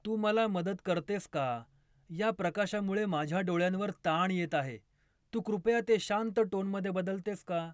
तू मला मदत करतेस का, या प्रकाशामुळे माझ्या डोळ्यांवर ताण येत आहे, तू कृपया ते शांत टोनमध्ये बदलतेस का